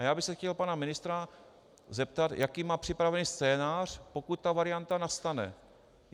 A já bych se chtěl pana ministra zeptat, jaký má připraven scénář, pokud ta varianta nastane.